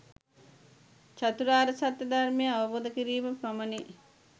චතුරාර්ය සත්‍ය ධර්මය අවබෝධ කිරීම පමණි.